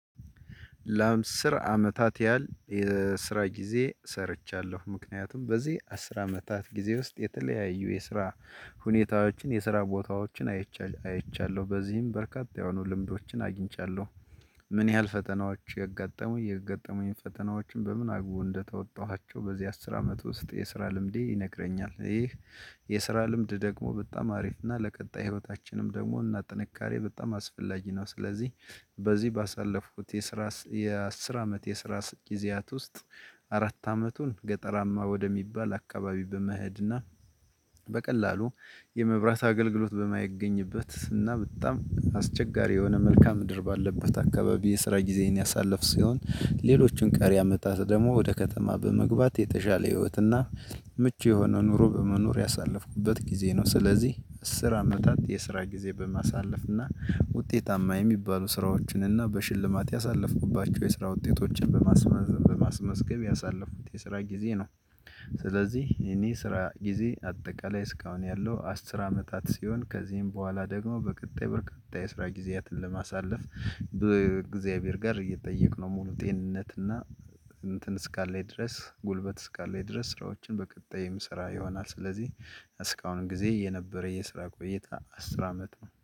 ለአስር አመታት ያህል የስራ ጊዜ ሰርቻለሁ ምክንያቱም በዚህ አስር አመታት ጊዜ ውስጥ የተለያዩ የስራ ሁኔታዎችን የስራ ቦታዎችን አይቻለሁ አይቻለሁ በዚህም በርካታ የሆኑ ልምዶችን አግኝቻለሁ። ምን ያህል ፈተናዎች ገጠሚኝ የገጠሙኝ ፈተናዎች በምን አርጎ እንደተወጣኋቸው በዚህ አስር አመት ውስጥ የስራ ልምዴ ይነግረኛል። ይህ የስራ ልምድ ደግሞ በጣም አሪፍ እና ለቀጣይ ህይወታችንም ደግሞ እና ጥንካሬ በጣም አስፈላጊ ነው። ስለዚህ በዚህ ባሳለፍኩት የስራ የአስር አመት የስራ ጊዜያት ውስጥ አራት አመቱን ገጠራማ ወደሚባል አካባቢ በመሄድና እና በቀላሉ የመብራት አገልግሎት በማይገኝበት እና በጣም አስቸጋሪ የሆነ መልካ ምድር ባለበት አካባቢ የስራ ጊዜን ያሳለፍ ሲሆን ሌሎችን ቀሪ አመታት ደግሞ ወደ ከተማ በመግባት የተሻለ ህይወትና ምቹ የሆነ ኑሮ በመኖር ያሳለፍኩበት ጊዜ ነው። ስለዚህ አስር አመታት የስራ ጊዜ በማሳለፍ እና ውጤታማ የሚባሉ ስራዎችን እና በሽልማት ያሳለፍኩባቸው የስራ ውጤቶችን በማስመዝ በማስመዝገብ ያሳለፉክት የስራ ጊዜ ነው። ስለዚህ የኔ ስራ ጊዜ አጠቃላይ እስካሁን ያለው አስር አመታት ሲሆን ከዚህም በኋላ ደግሞ በቀጣይ በርካታ የስራ ጊዜያትን ለማሳለፍ በእግዚአብሔር ጋር እየተጠየቅን ሙሉ ጤንነት እና እንትን እስካለኝ ድረስ ጉልበት እስካለኝ ድረስ ስራዎችን በቀጣይም የምሰራ ይሆናል። ስለዚህ እስካሁን ጊዜ የነበረ የስራ ቆይታ አስር አመት ነው